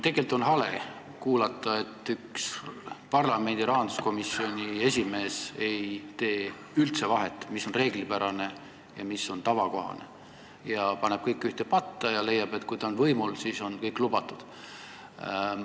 Tegelikult on hale kuulata, et üks parlamendi rahanduskomisjoni esimees ei tee üldse vahet, mis on reeglipärane ja mis on tavakohane, vaid paneb kõik ühte patta ja leiab, et kui ta on võimul, siis on kõik lubatud.